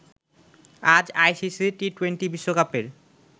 আজ আইসিসি টি২০ বিশ্বকাপের